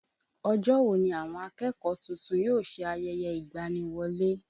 Ọjọ́ wo ni àwọn akẹ́kọ̀ọ́ tuntun yóò ṣe ayẹyẹ ìgbani-wọlé?